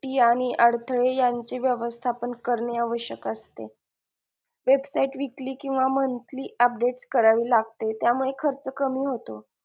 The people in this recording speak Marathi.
आणि अडथळे यांची व्यवस्थापन करणे आवश्यक असते website weekly किंवा monthly update करावी लागते त्यामुळे खर्च कमी होतो.